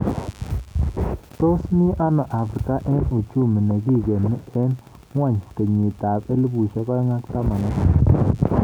Tos mi ano Afrika eng uchumi nikigeni eng ngwony kenyit ab 2018